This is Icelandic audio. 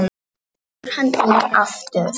Svo fór hann inn aftur.